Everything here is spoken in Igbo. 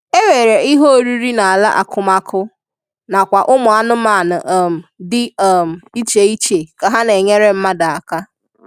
E nwere ihe oriri na-ala akụmakụ na kwa ụmụ anụmanụ um di um iche-iche ka ha na enyere mmadụ aka.